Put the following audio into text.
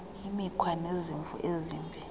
imikhwa nezimvo ezimbi